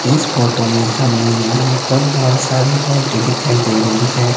इस फोटो में हमें यहां पर बहोत सारी लाइटें दिखाई दे रही हैं।